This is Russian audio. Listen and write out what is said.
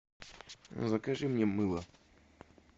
закажи мне мыло